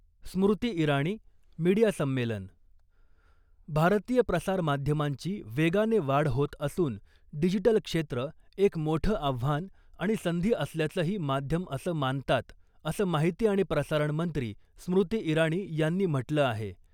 स्मृती Irani media संमेलन भारतीय प्रसार माध्यमांची वेगाने वाढ होत असून डिजिटल क्षेत्र एक मोठं आव्हान आणि संधी असल्याचंही माध्यम असं मानतात असं माहिती आणि प्रसारण मंत्री स्मृती इराणी यांनी म्हंटल आहे .